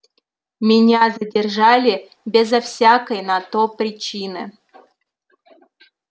меня задержали безо всякой на то причины